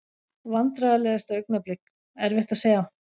Vandræðalegasta augnablik: Erfitt að segja.